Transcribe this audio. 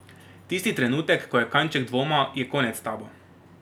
Tisti trenutek, ko je kanček dvoma, je konec s tabo.